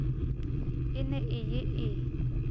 e ne e ye e